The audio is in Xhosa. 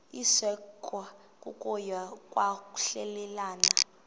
isekwa kokuya kwahlulelana